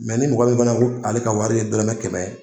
ni mɔgɔ min fana ko ale ka wari ye dɔrɔmɛ kɛmɛ.